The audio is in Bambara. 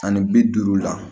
Ani bi duuru la